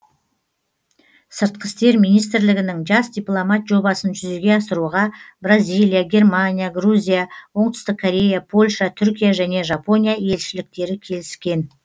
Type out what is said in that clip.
сыртқы істер министрлігінің жас дипломат жобасын жүзеге асыруға бразилия германия грузия оңтүстік корея польша түркия және жапония елшіліктері келіскен